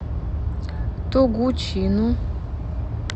тогучину